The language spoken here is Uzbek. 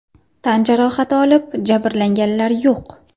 Tan jarohati olib, jabrlanganlar yo‘q.